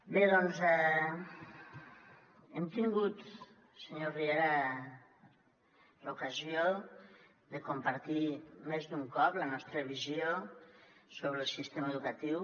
bé doncs hem tingut senyor riera l’ocasió de compartir més d’un cop la nostra visió sobre el sistema educatiu